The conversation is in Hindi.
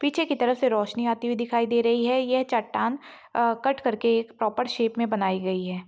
पीछे की तरफ से रोशनी आती हुई दिखाई दे रही है ये चट्टान अ कट कर के एक प्रॉपर शेप मे बनाई गई है ।